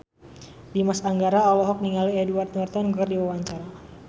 Dimas Anggara olohok ningali Edward Norton keur diwawancara